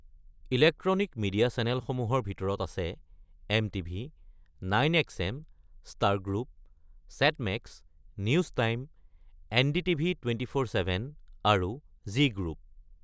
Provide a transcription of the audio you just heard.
Electronic media চেনেলসমূহৰ ভিতৰত আছে, এমটিভি, ৯এক্সএম, Star group, Set Max, News Time, NDTV ২৪x৭ আৰু জি গ্ৰুপ।